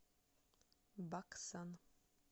баксан